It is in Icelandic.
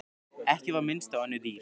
Ekki var minnst á önnur dýr.